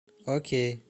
окей